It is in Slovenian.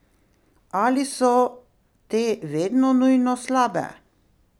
Ali so te vedno nujno slabe?